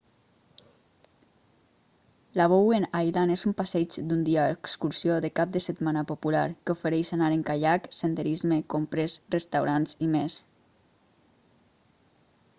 la bowen island és un passeig d'un dia o excursió de cap de setmana popular que ofereix anar en caiac senderisme compres restaurants i més